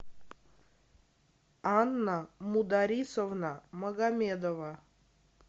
анна мударисовна магомедова